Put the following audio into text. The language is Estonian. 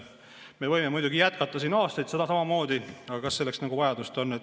Me võime muidugi jätkata siin aastaid samamoodi, aga kas selleks vajadust on?